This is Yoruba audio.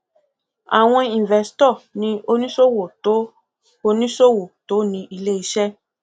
àwọn investo ni oníṣòwò tó oníṣòwò tó ní iléiṣẹ